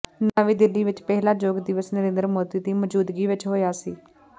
ਨਵੀਂ ਦਿੱਲੀ ਵਿਚ ਪਹਿਲਾ ਯੋਗ ਦਿਵਸ ਨਰਿੰਦਰ ਮੋਦੀ ਦੀ ਮੌਜੂਦਗੀ ਵਿਚ ਹੋਇਆ ਸੀ